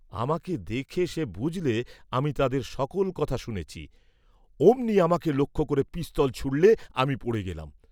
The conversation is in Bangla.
আমাকে দেখে সে বুঝলে আমি তাদের সকল কথা শুনেছি, অমনি আমাকে লক্ষ্য করে পিস্তল ছুঁড়লে, আমি পড়ে গেলেম।